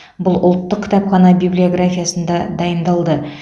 бұл ұлттық кітапхана библиографиясында дайындалды